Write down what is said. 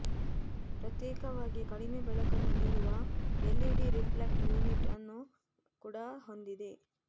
ಪ್ರತ್ಯೇಕವಾಗಿ ಕಡಿಮೆ ಬೆಳಕನ್ನು ನೀಡುವ ಎಲ್ಇಡಿ ರಿಫ್ಲೆಕ್ಟ್ ಯುನಿಟ್ ಅನ್ನು ಕೂಡ ಹೊಂದಿದೆ